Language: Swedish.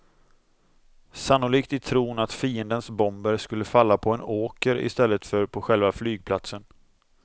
Sannolikt i tron att fiendens bomber skulle falla på en åker i stället för på själva flygplatsen.